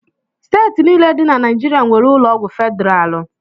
Steeti niile dị na Naijiria nwere ụlọọgwụ federalụ